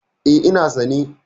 E, ina sane.